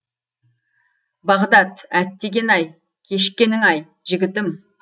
бағдат әттеген ай кешіккенің ай жігітім